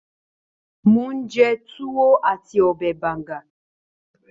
Mò ń jẹ Tuwo àti ọbẹ̀ Banga